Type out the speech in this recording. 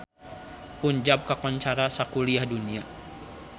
Punjab kakoncara sakuliah dunya